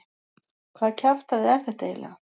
Hvaða kjaftæði er þetta eiginlega?